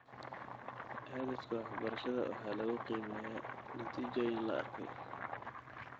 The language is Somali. Hadafka waxbarashada waxaa lagu qiimeeyaa natiijooyin la arkay.